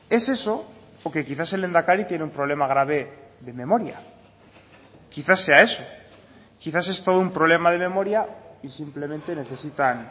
es eso o que quizás el lehendakari tiene un problema grave de memoria quizá sea eso quizás es todo un problema de memoria y simplemente necesitan